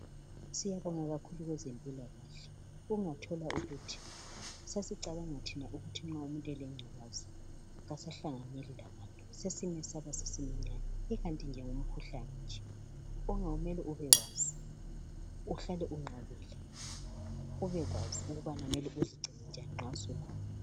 Siyabonga kakhulu bezempilakahle. Ungathola ukuthi sasicabanga thina ukuthi nxa umuntu elengculaza kasahlanganyeli labantu. Sasimesaba, simenyanya ikanti ke ngumkhuhlane nje, ongamele ubewazi, uhlale unqabile ubekwazi ukubana mele uzigcine njani nxa sulawo.